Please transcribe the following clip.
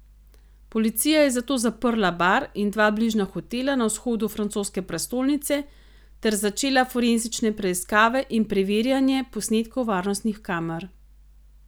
Policija je zato zaprla bar in dva bližnja hotela na vzhodu francoske prestolnice ter začela forenzične preiskave in preverjanje posnetkov varnostnih kamer.